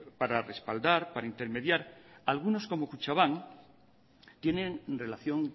para respaldar para intermediar algunos como kutxabank tienen relación